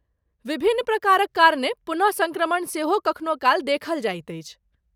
विभिन्न प्रकारक कारणे पुनः सङ्क्रमण सेहो कखनो काल देखल जाइत अछि।